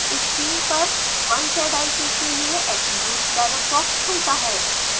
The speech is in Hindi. स्क्रीन पर 1zik के लिए attributes डायलॉग बॉक्स खुलता है